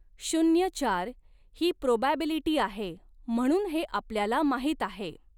शून्य चार ही प्रोबॅबिलिटी आहे म्हणून हे आपल्याला माहित आहे.